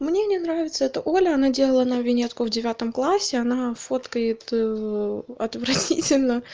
мне не нравится эта оля она делала на виньетку в девятом классе она фоткает отвратительно